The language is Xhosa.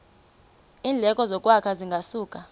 iindleko zokwakha zingasuka